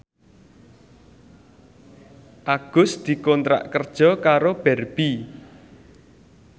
Agus dikontrak kerja karo Barbie